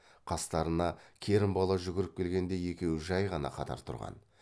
қастарына керімбала жүгіріп келгенде екеуі жай ғана қатар тұрған